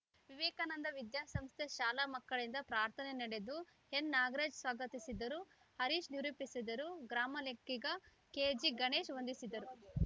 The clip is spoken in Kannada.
ವಿವೇಕಾನಂದ ವಿದ್ಯಾ ಸಂಸ್ಥೆ ಶಾಲಾ ಮಕ್ಕಳಿಂದ ಪ್ರಾರ್ಥನೆ ನಡೆದು ಎನ್‌ನಾಗರಾಜ್‌ ಸ್ವಾಗತಿಸಿದರು ಹರೀಶ್‌ ನಿರೂಪಿಸಿದರು ಗ್ರಾಮಲೆಕ್ಕಿಗ ಕೆಜಿಗಣೇಶ್‌ ವಂದಿಸಿದರು